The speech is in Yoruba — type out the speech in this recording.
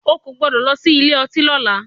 O kò gbọ́dọ̀ lọ sí ilé ọtí lọ́la!